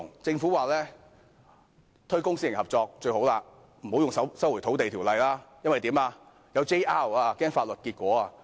政府說推廣公私營合作是最好的，不要使用《收回土地條例》，怕有人會提出 JR， 擔心有法律結果。